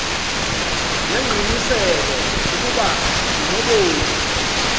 ngengqiniseko ukuba unobomi